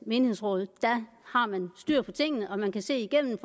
menighedsråd har man styr på tingene man kan se igennem